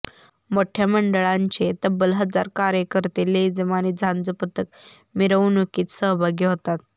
मोठ्या मंडळांचे तब्बल हजार कार्यकर्ते लेझीम आणि झांज पथक मिरवणुकीत सहभागी होतात